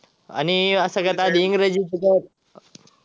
आणि अं सगळ्यात आधी इंग्रजीच.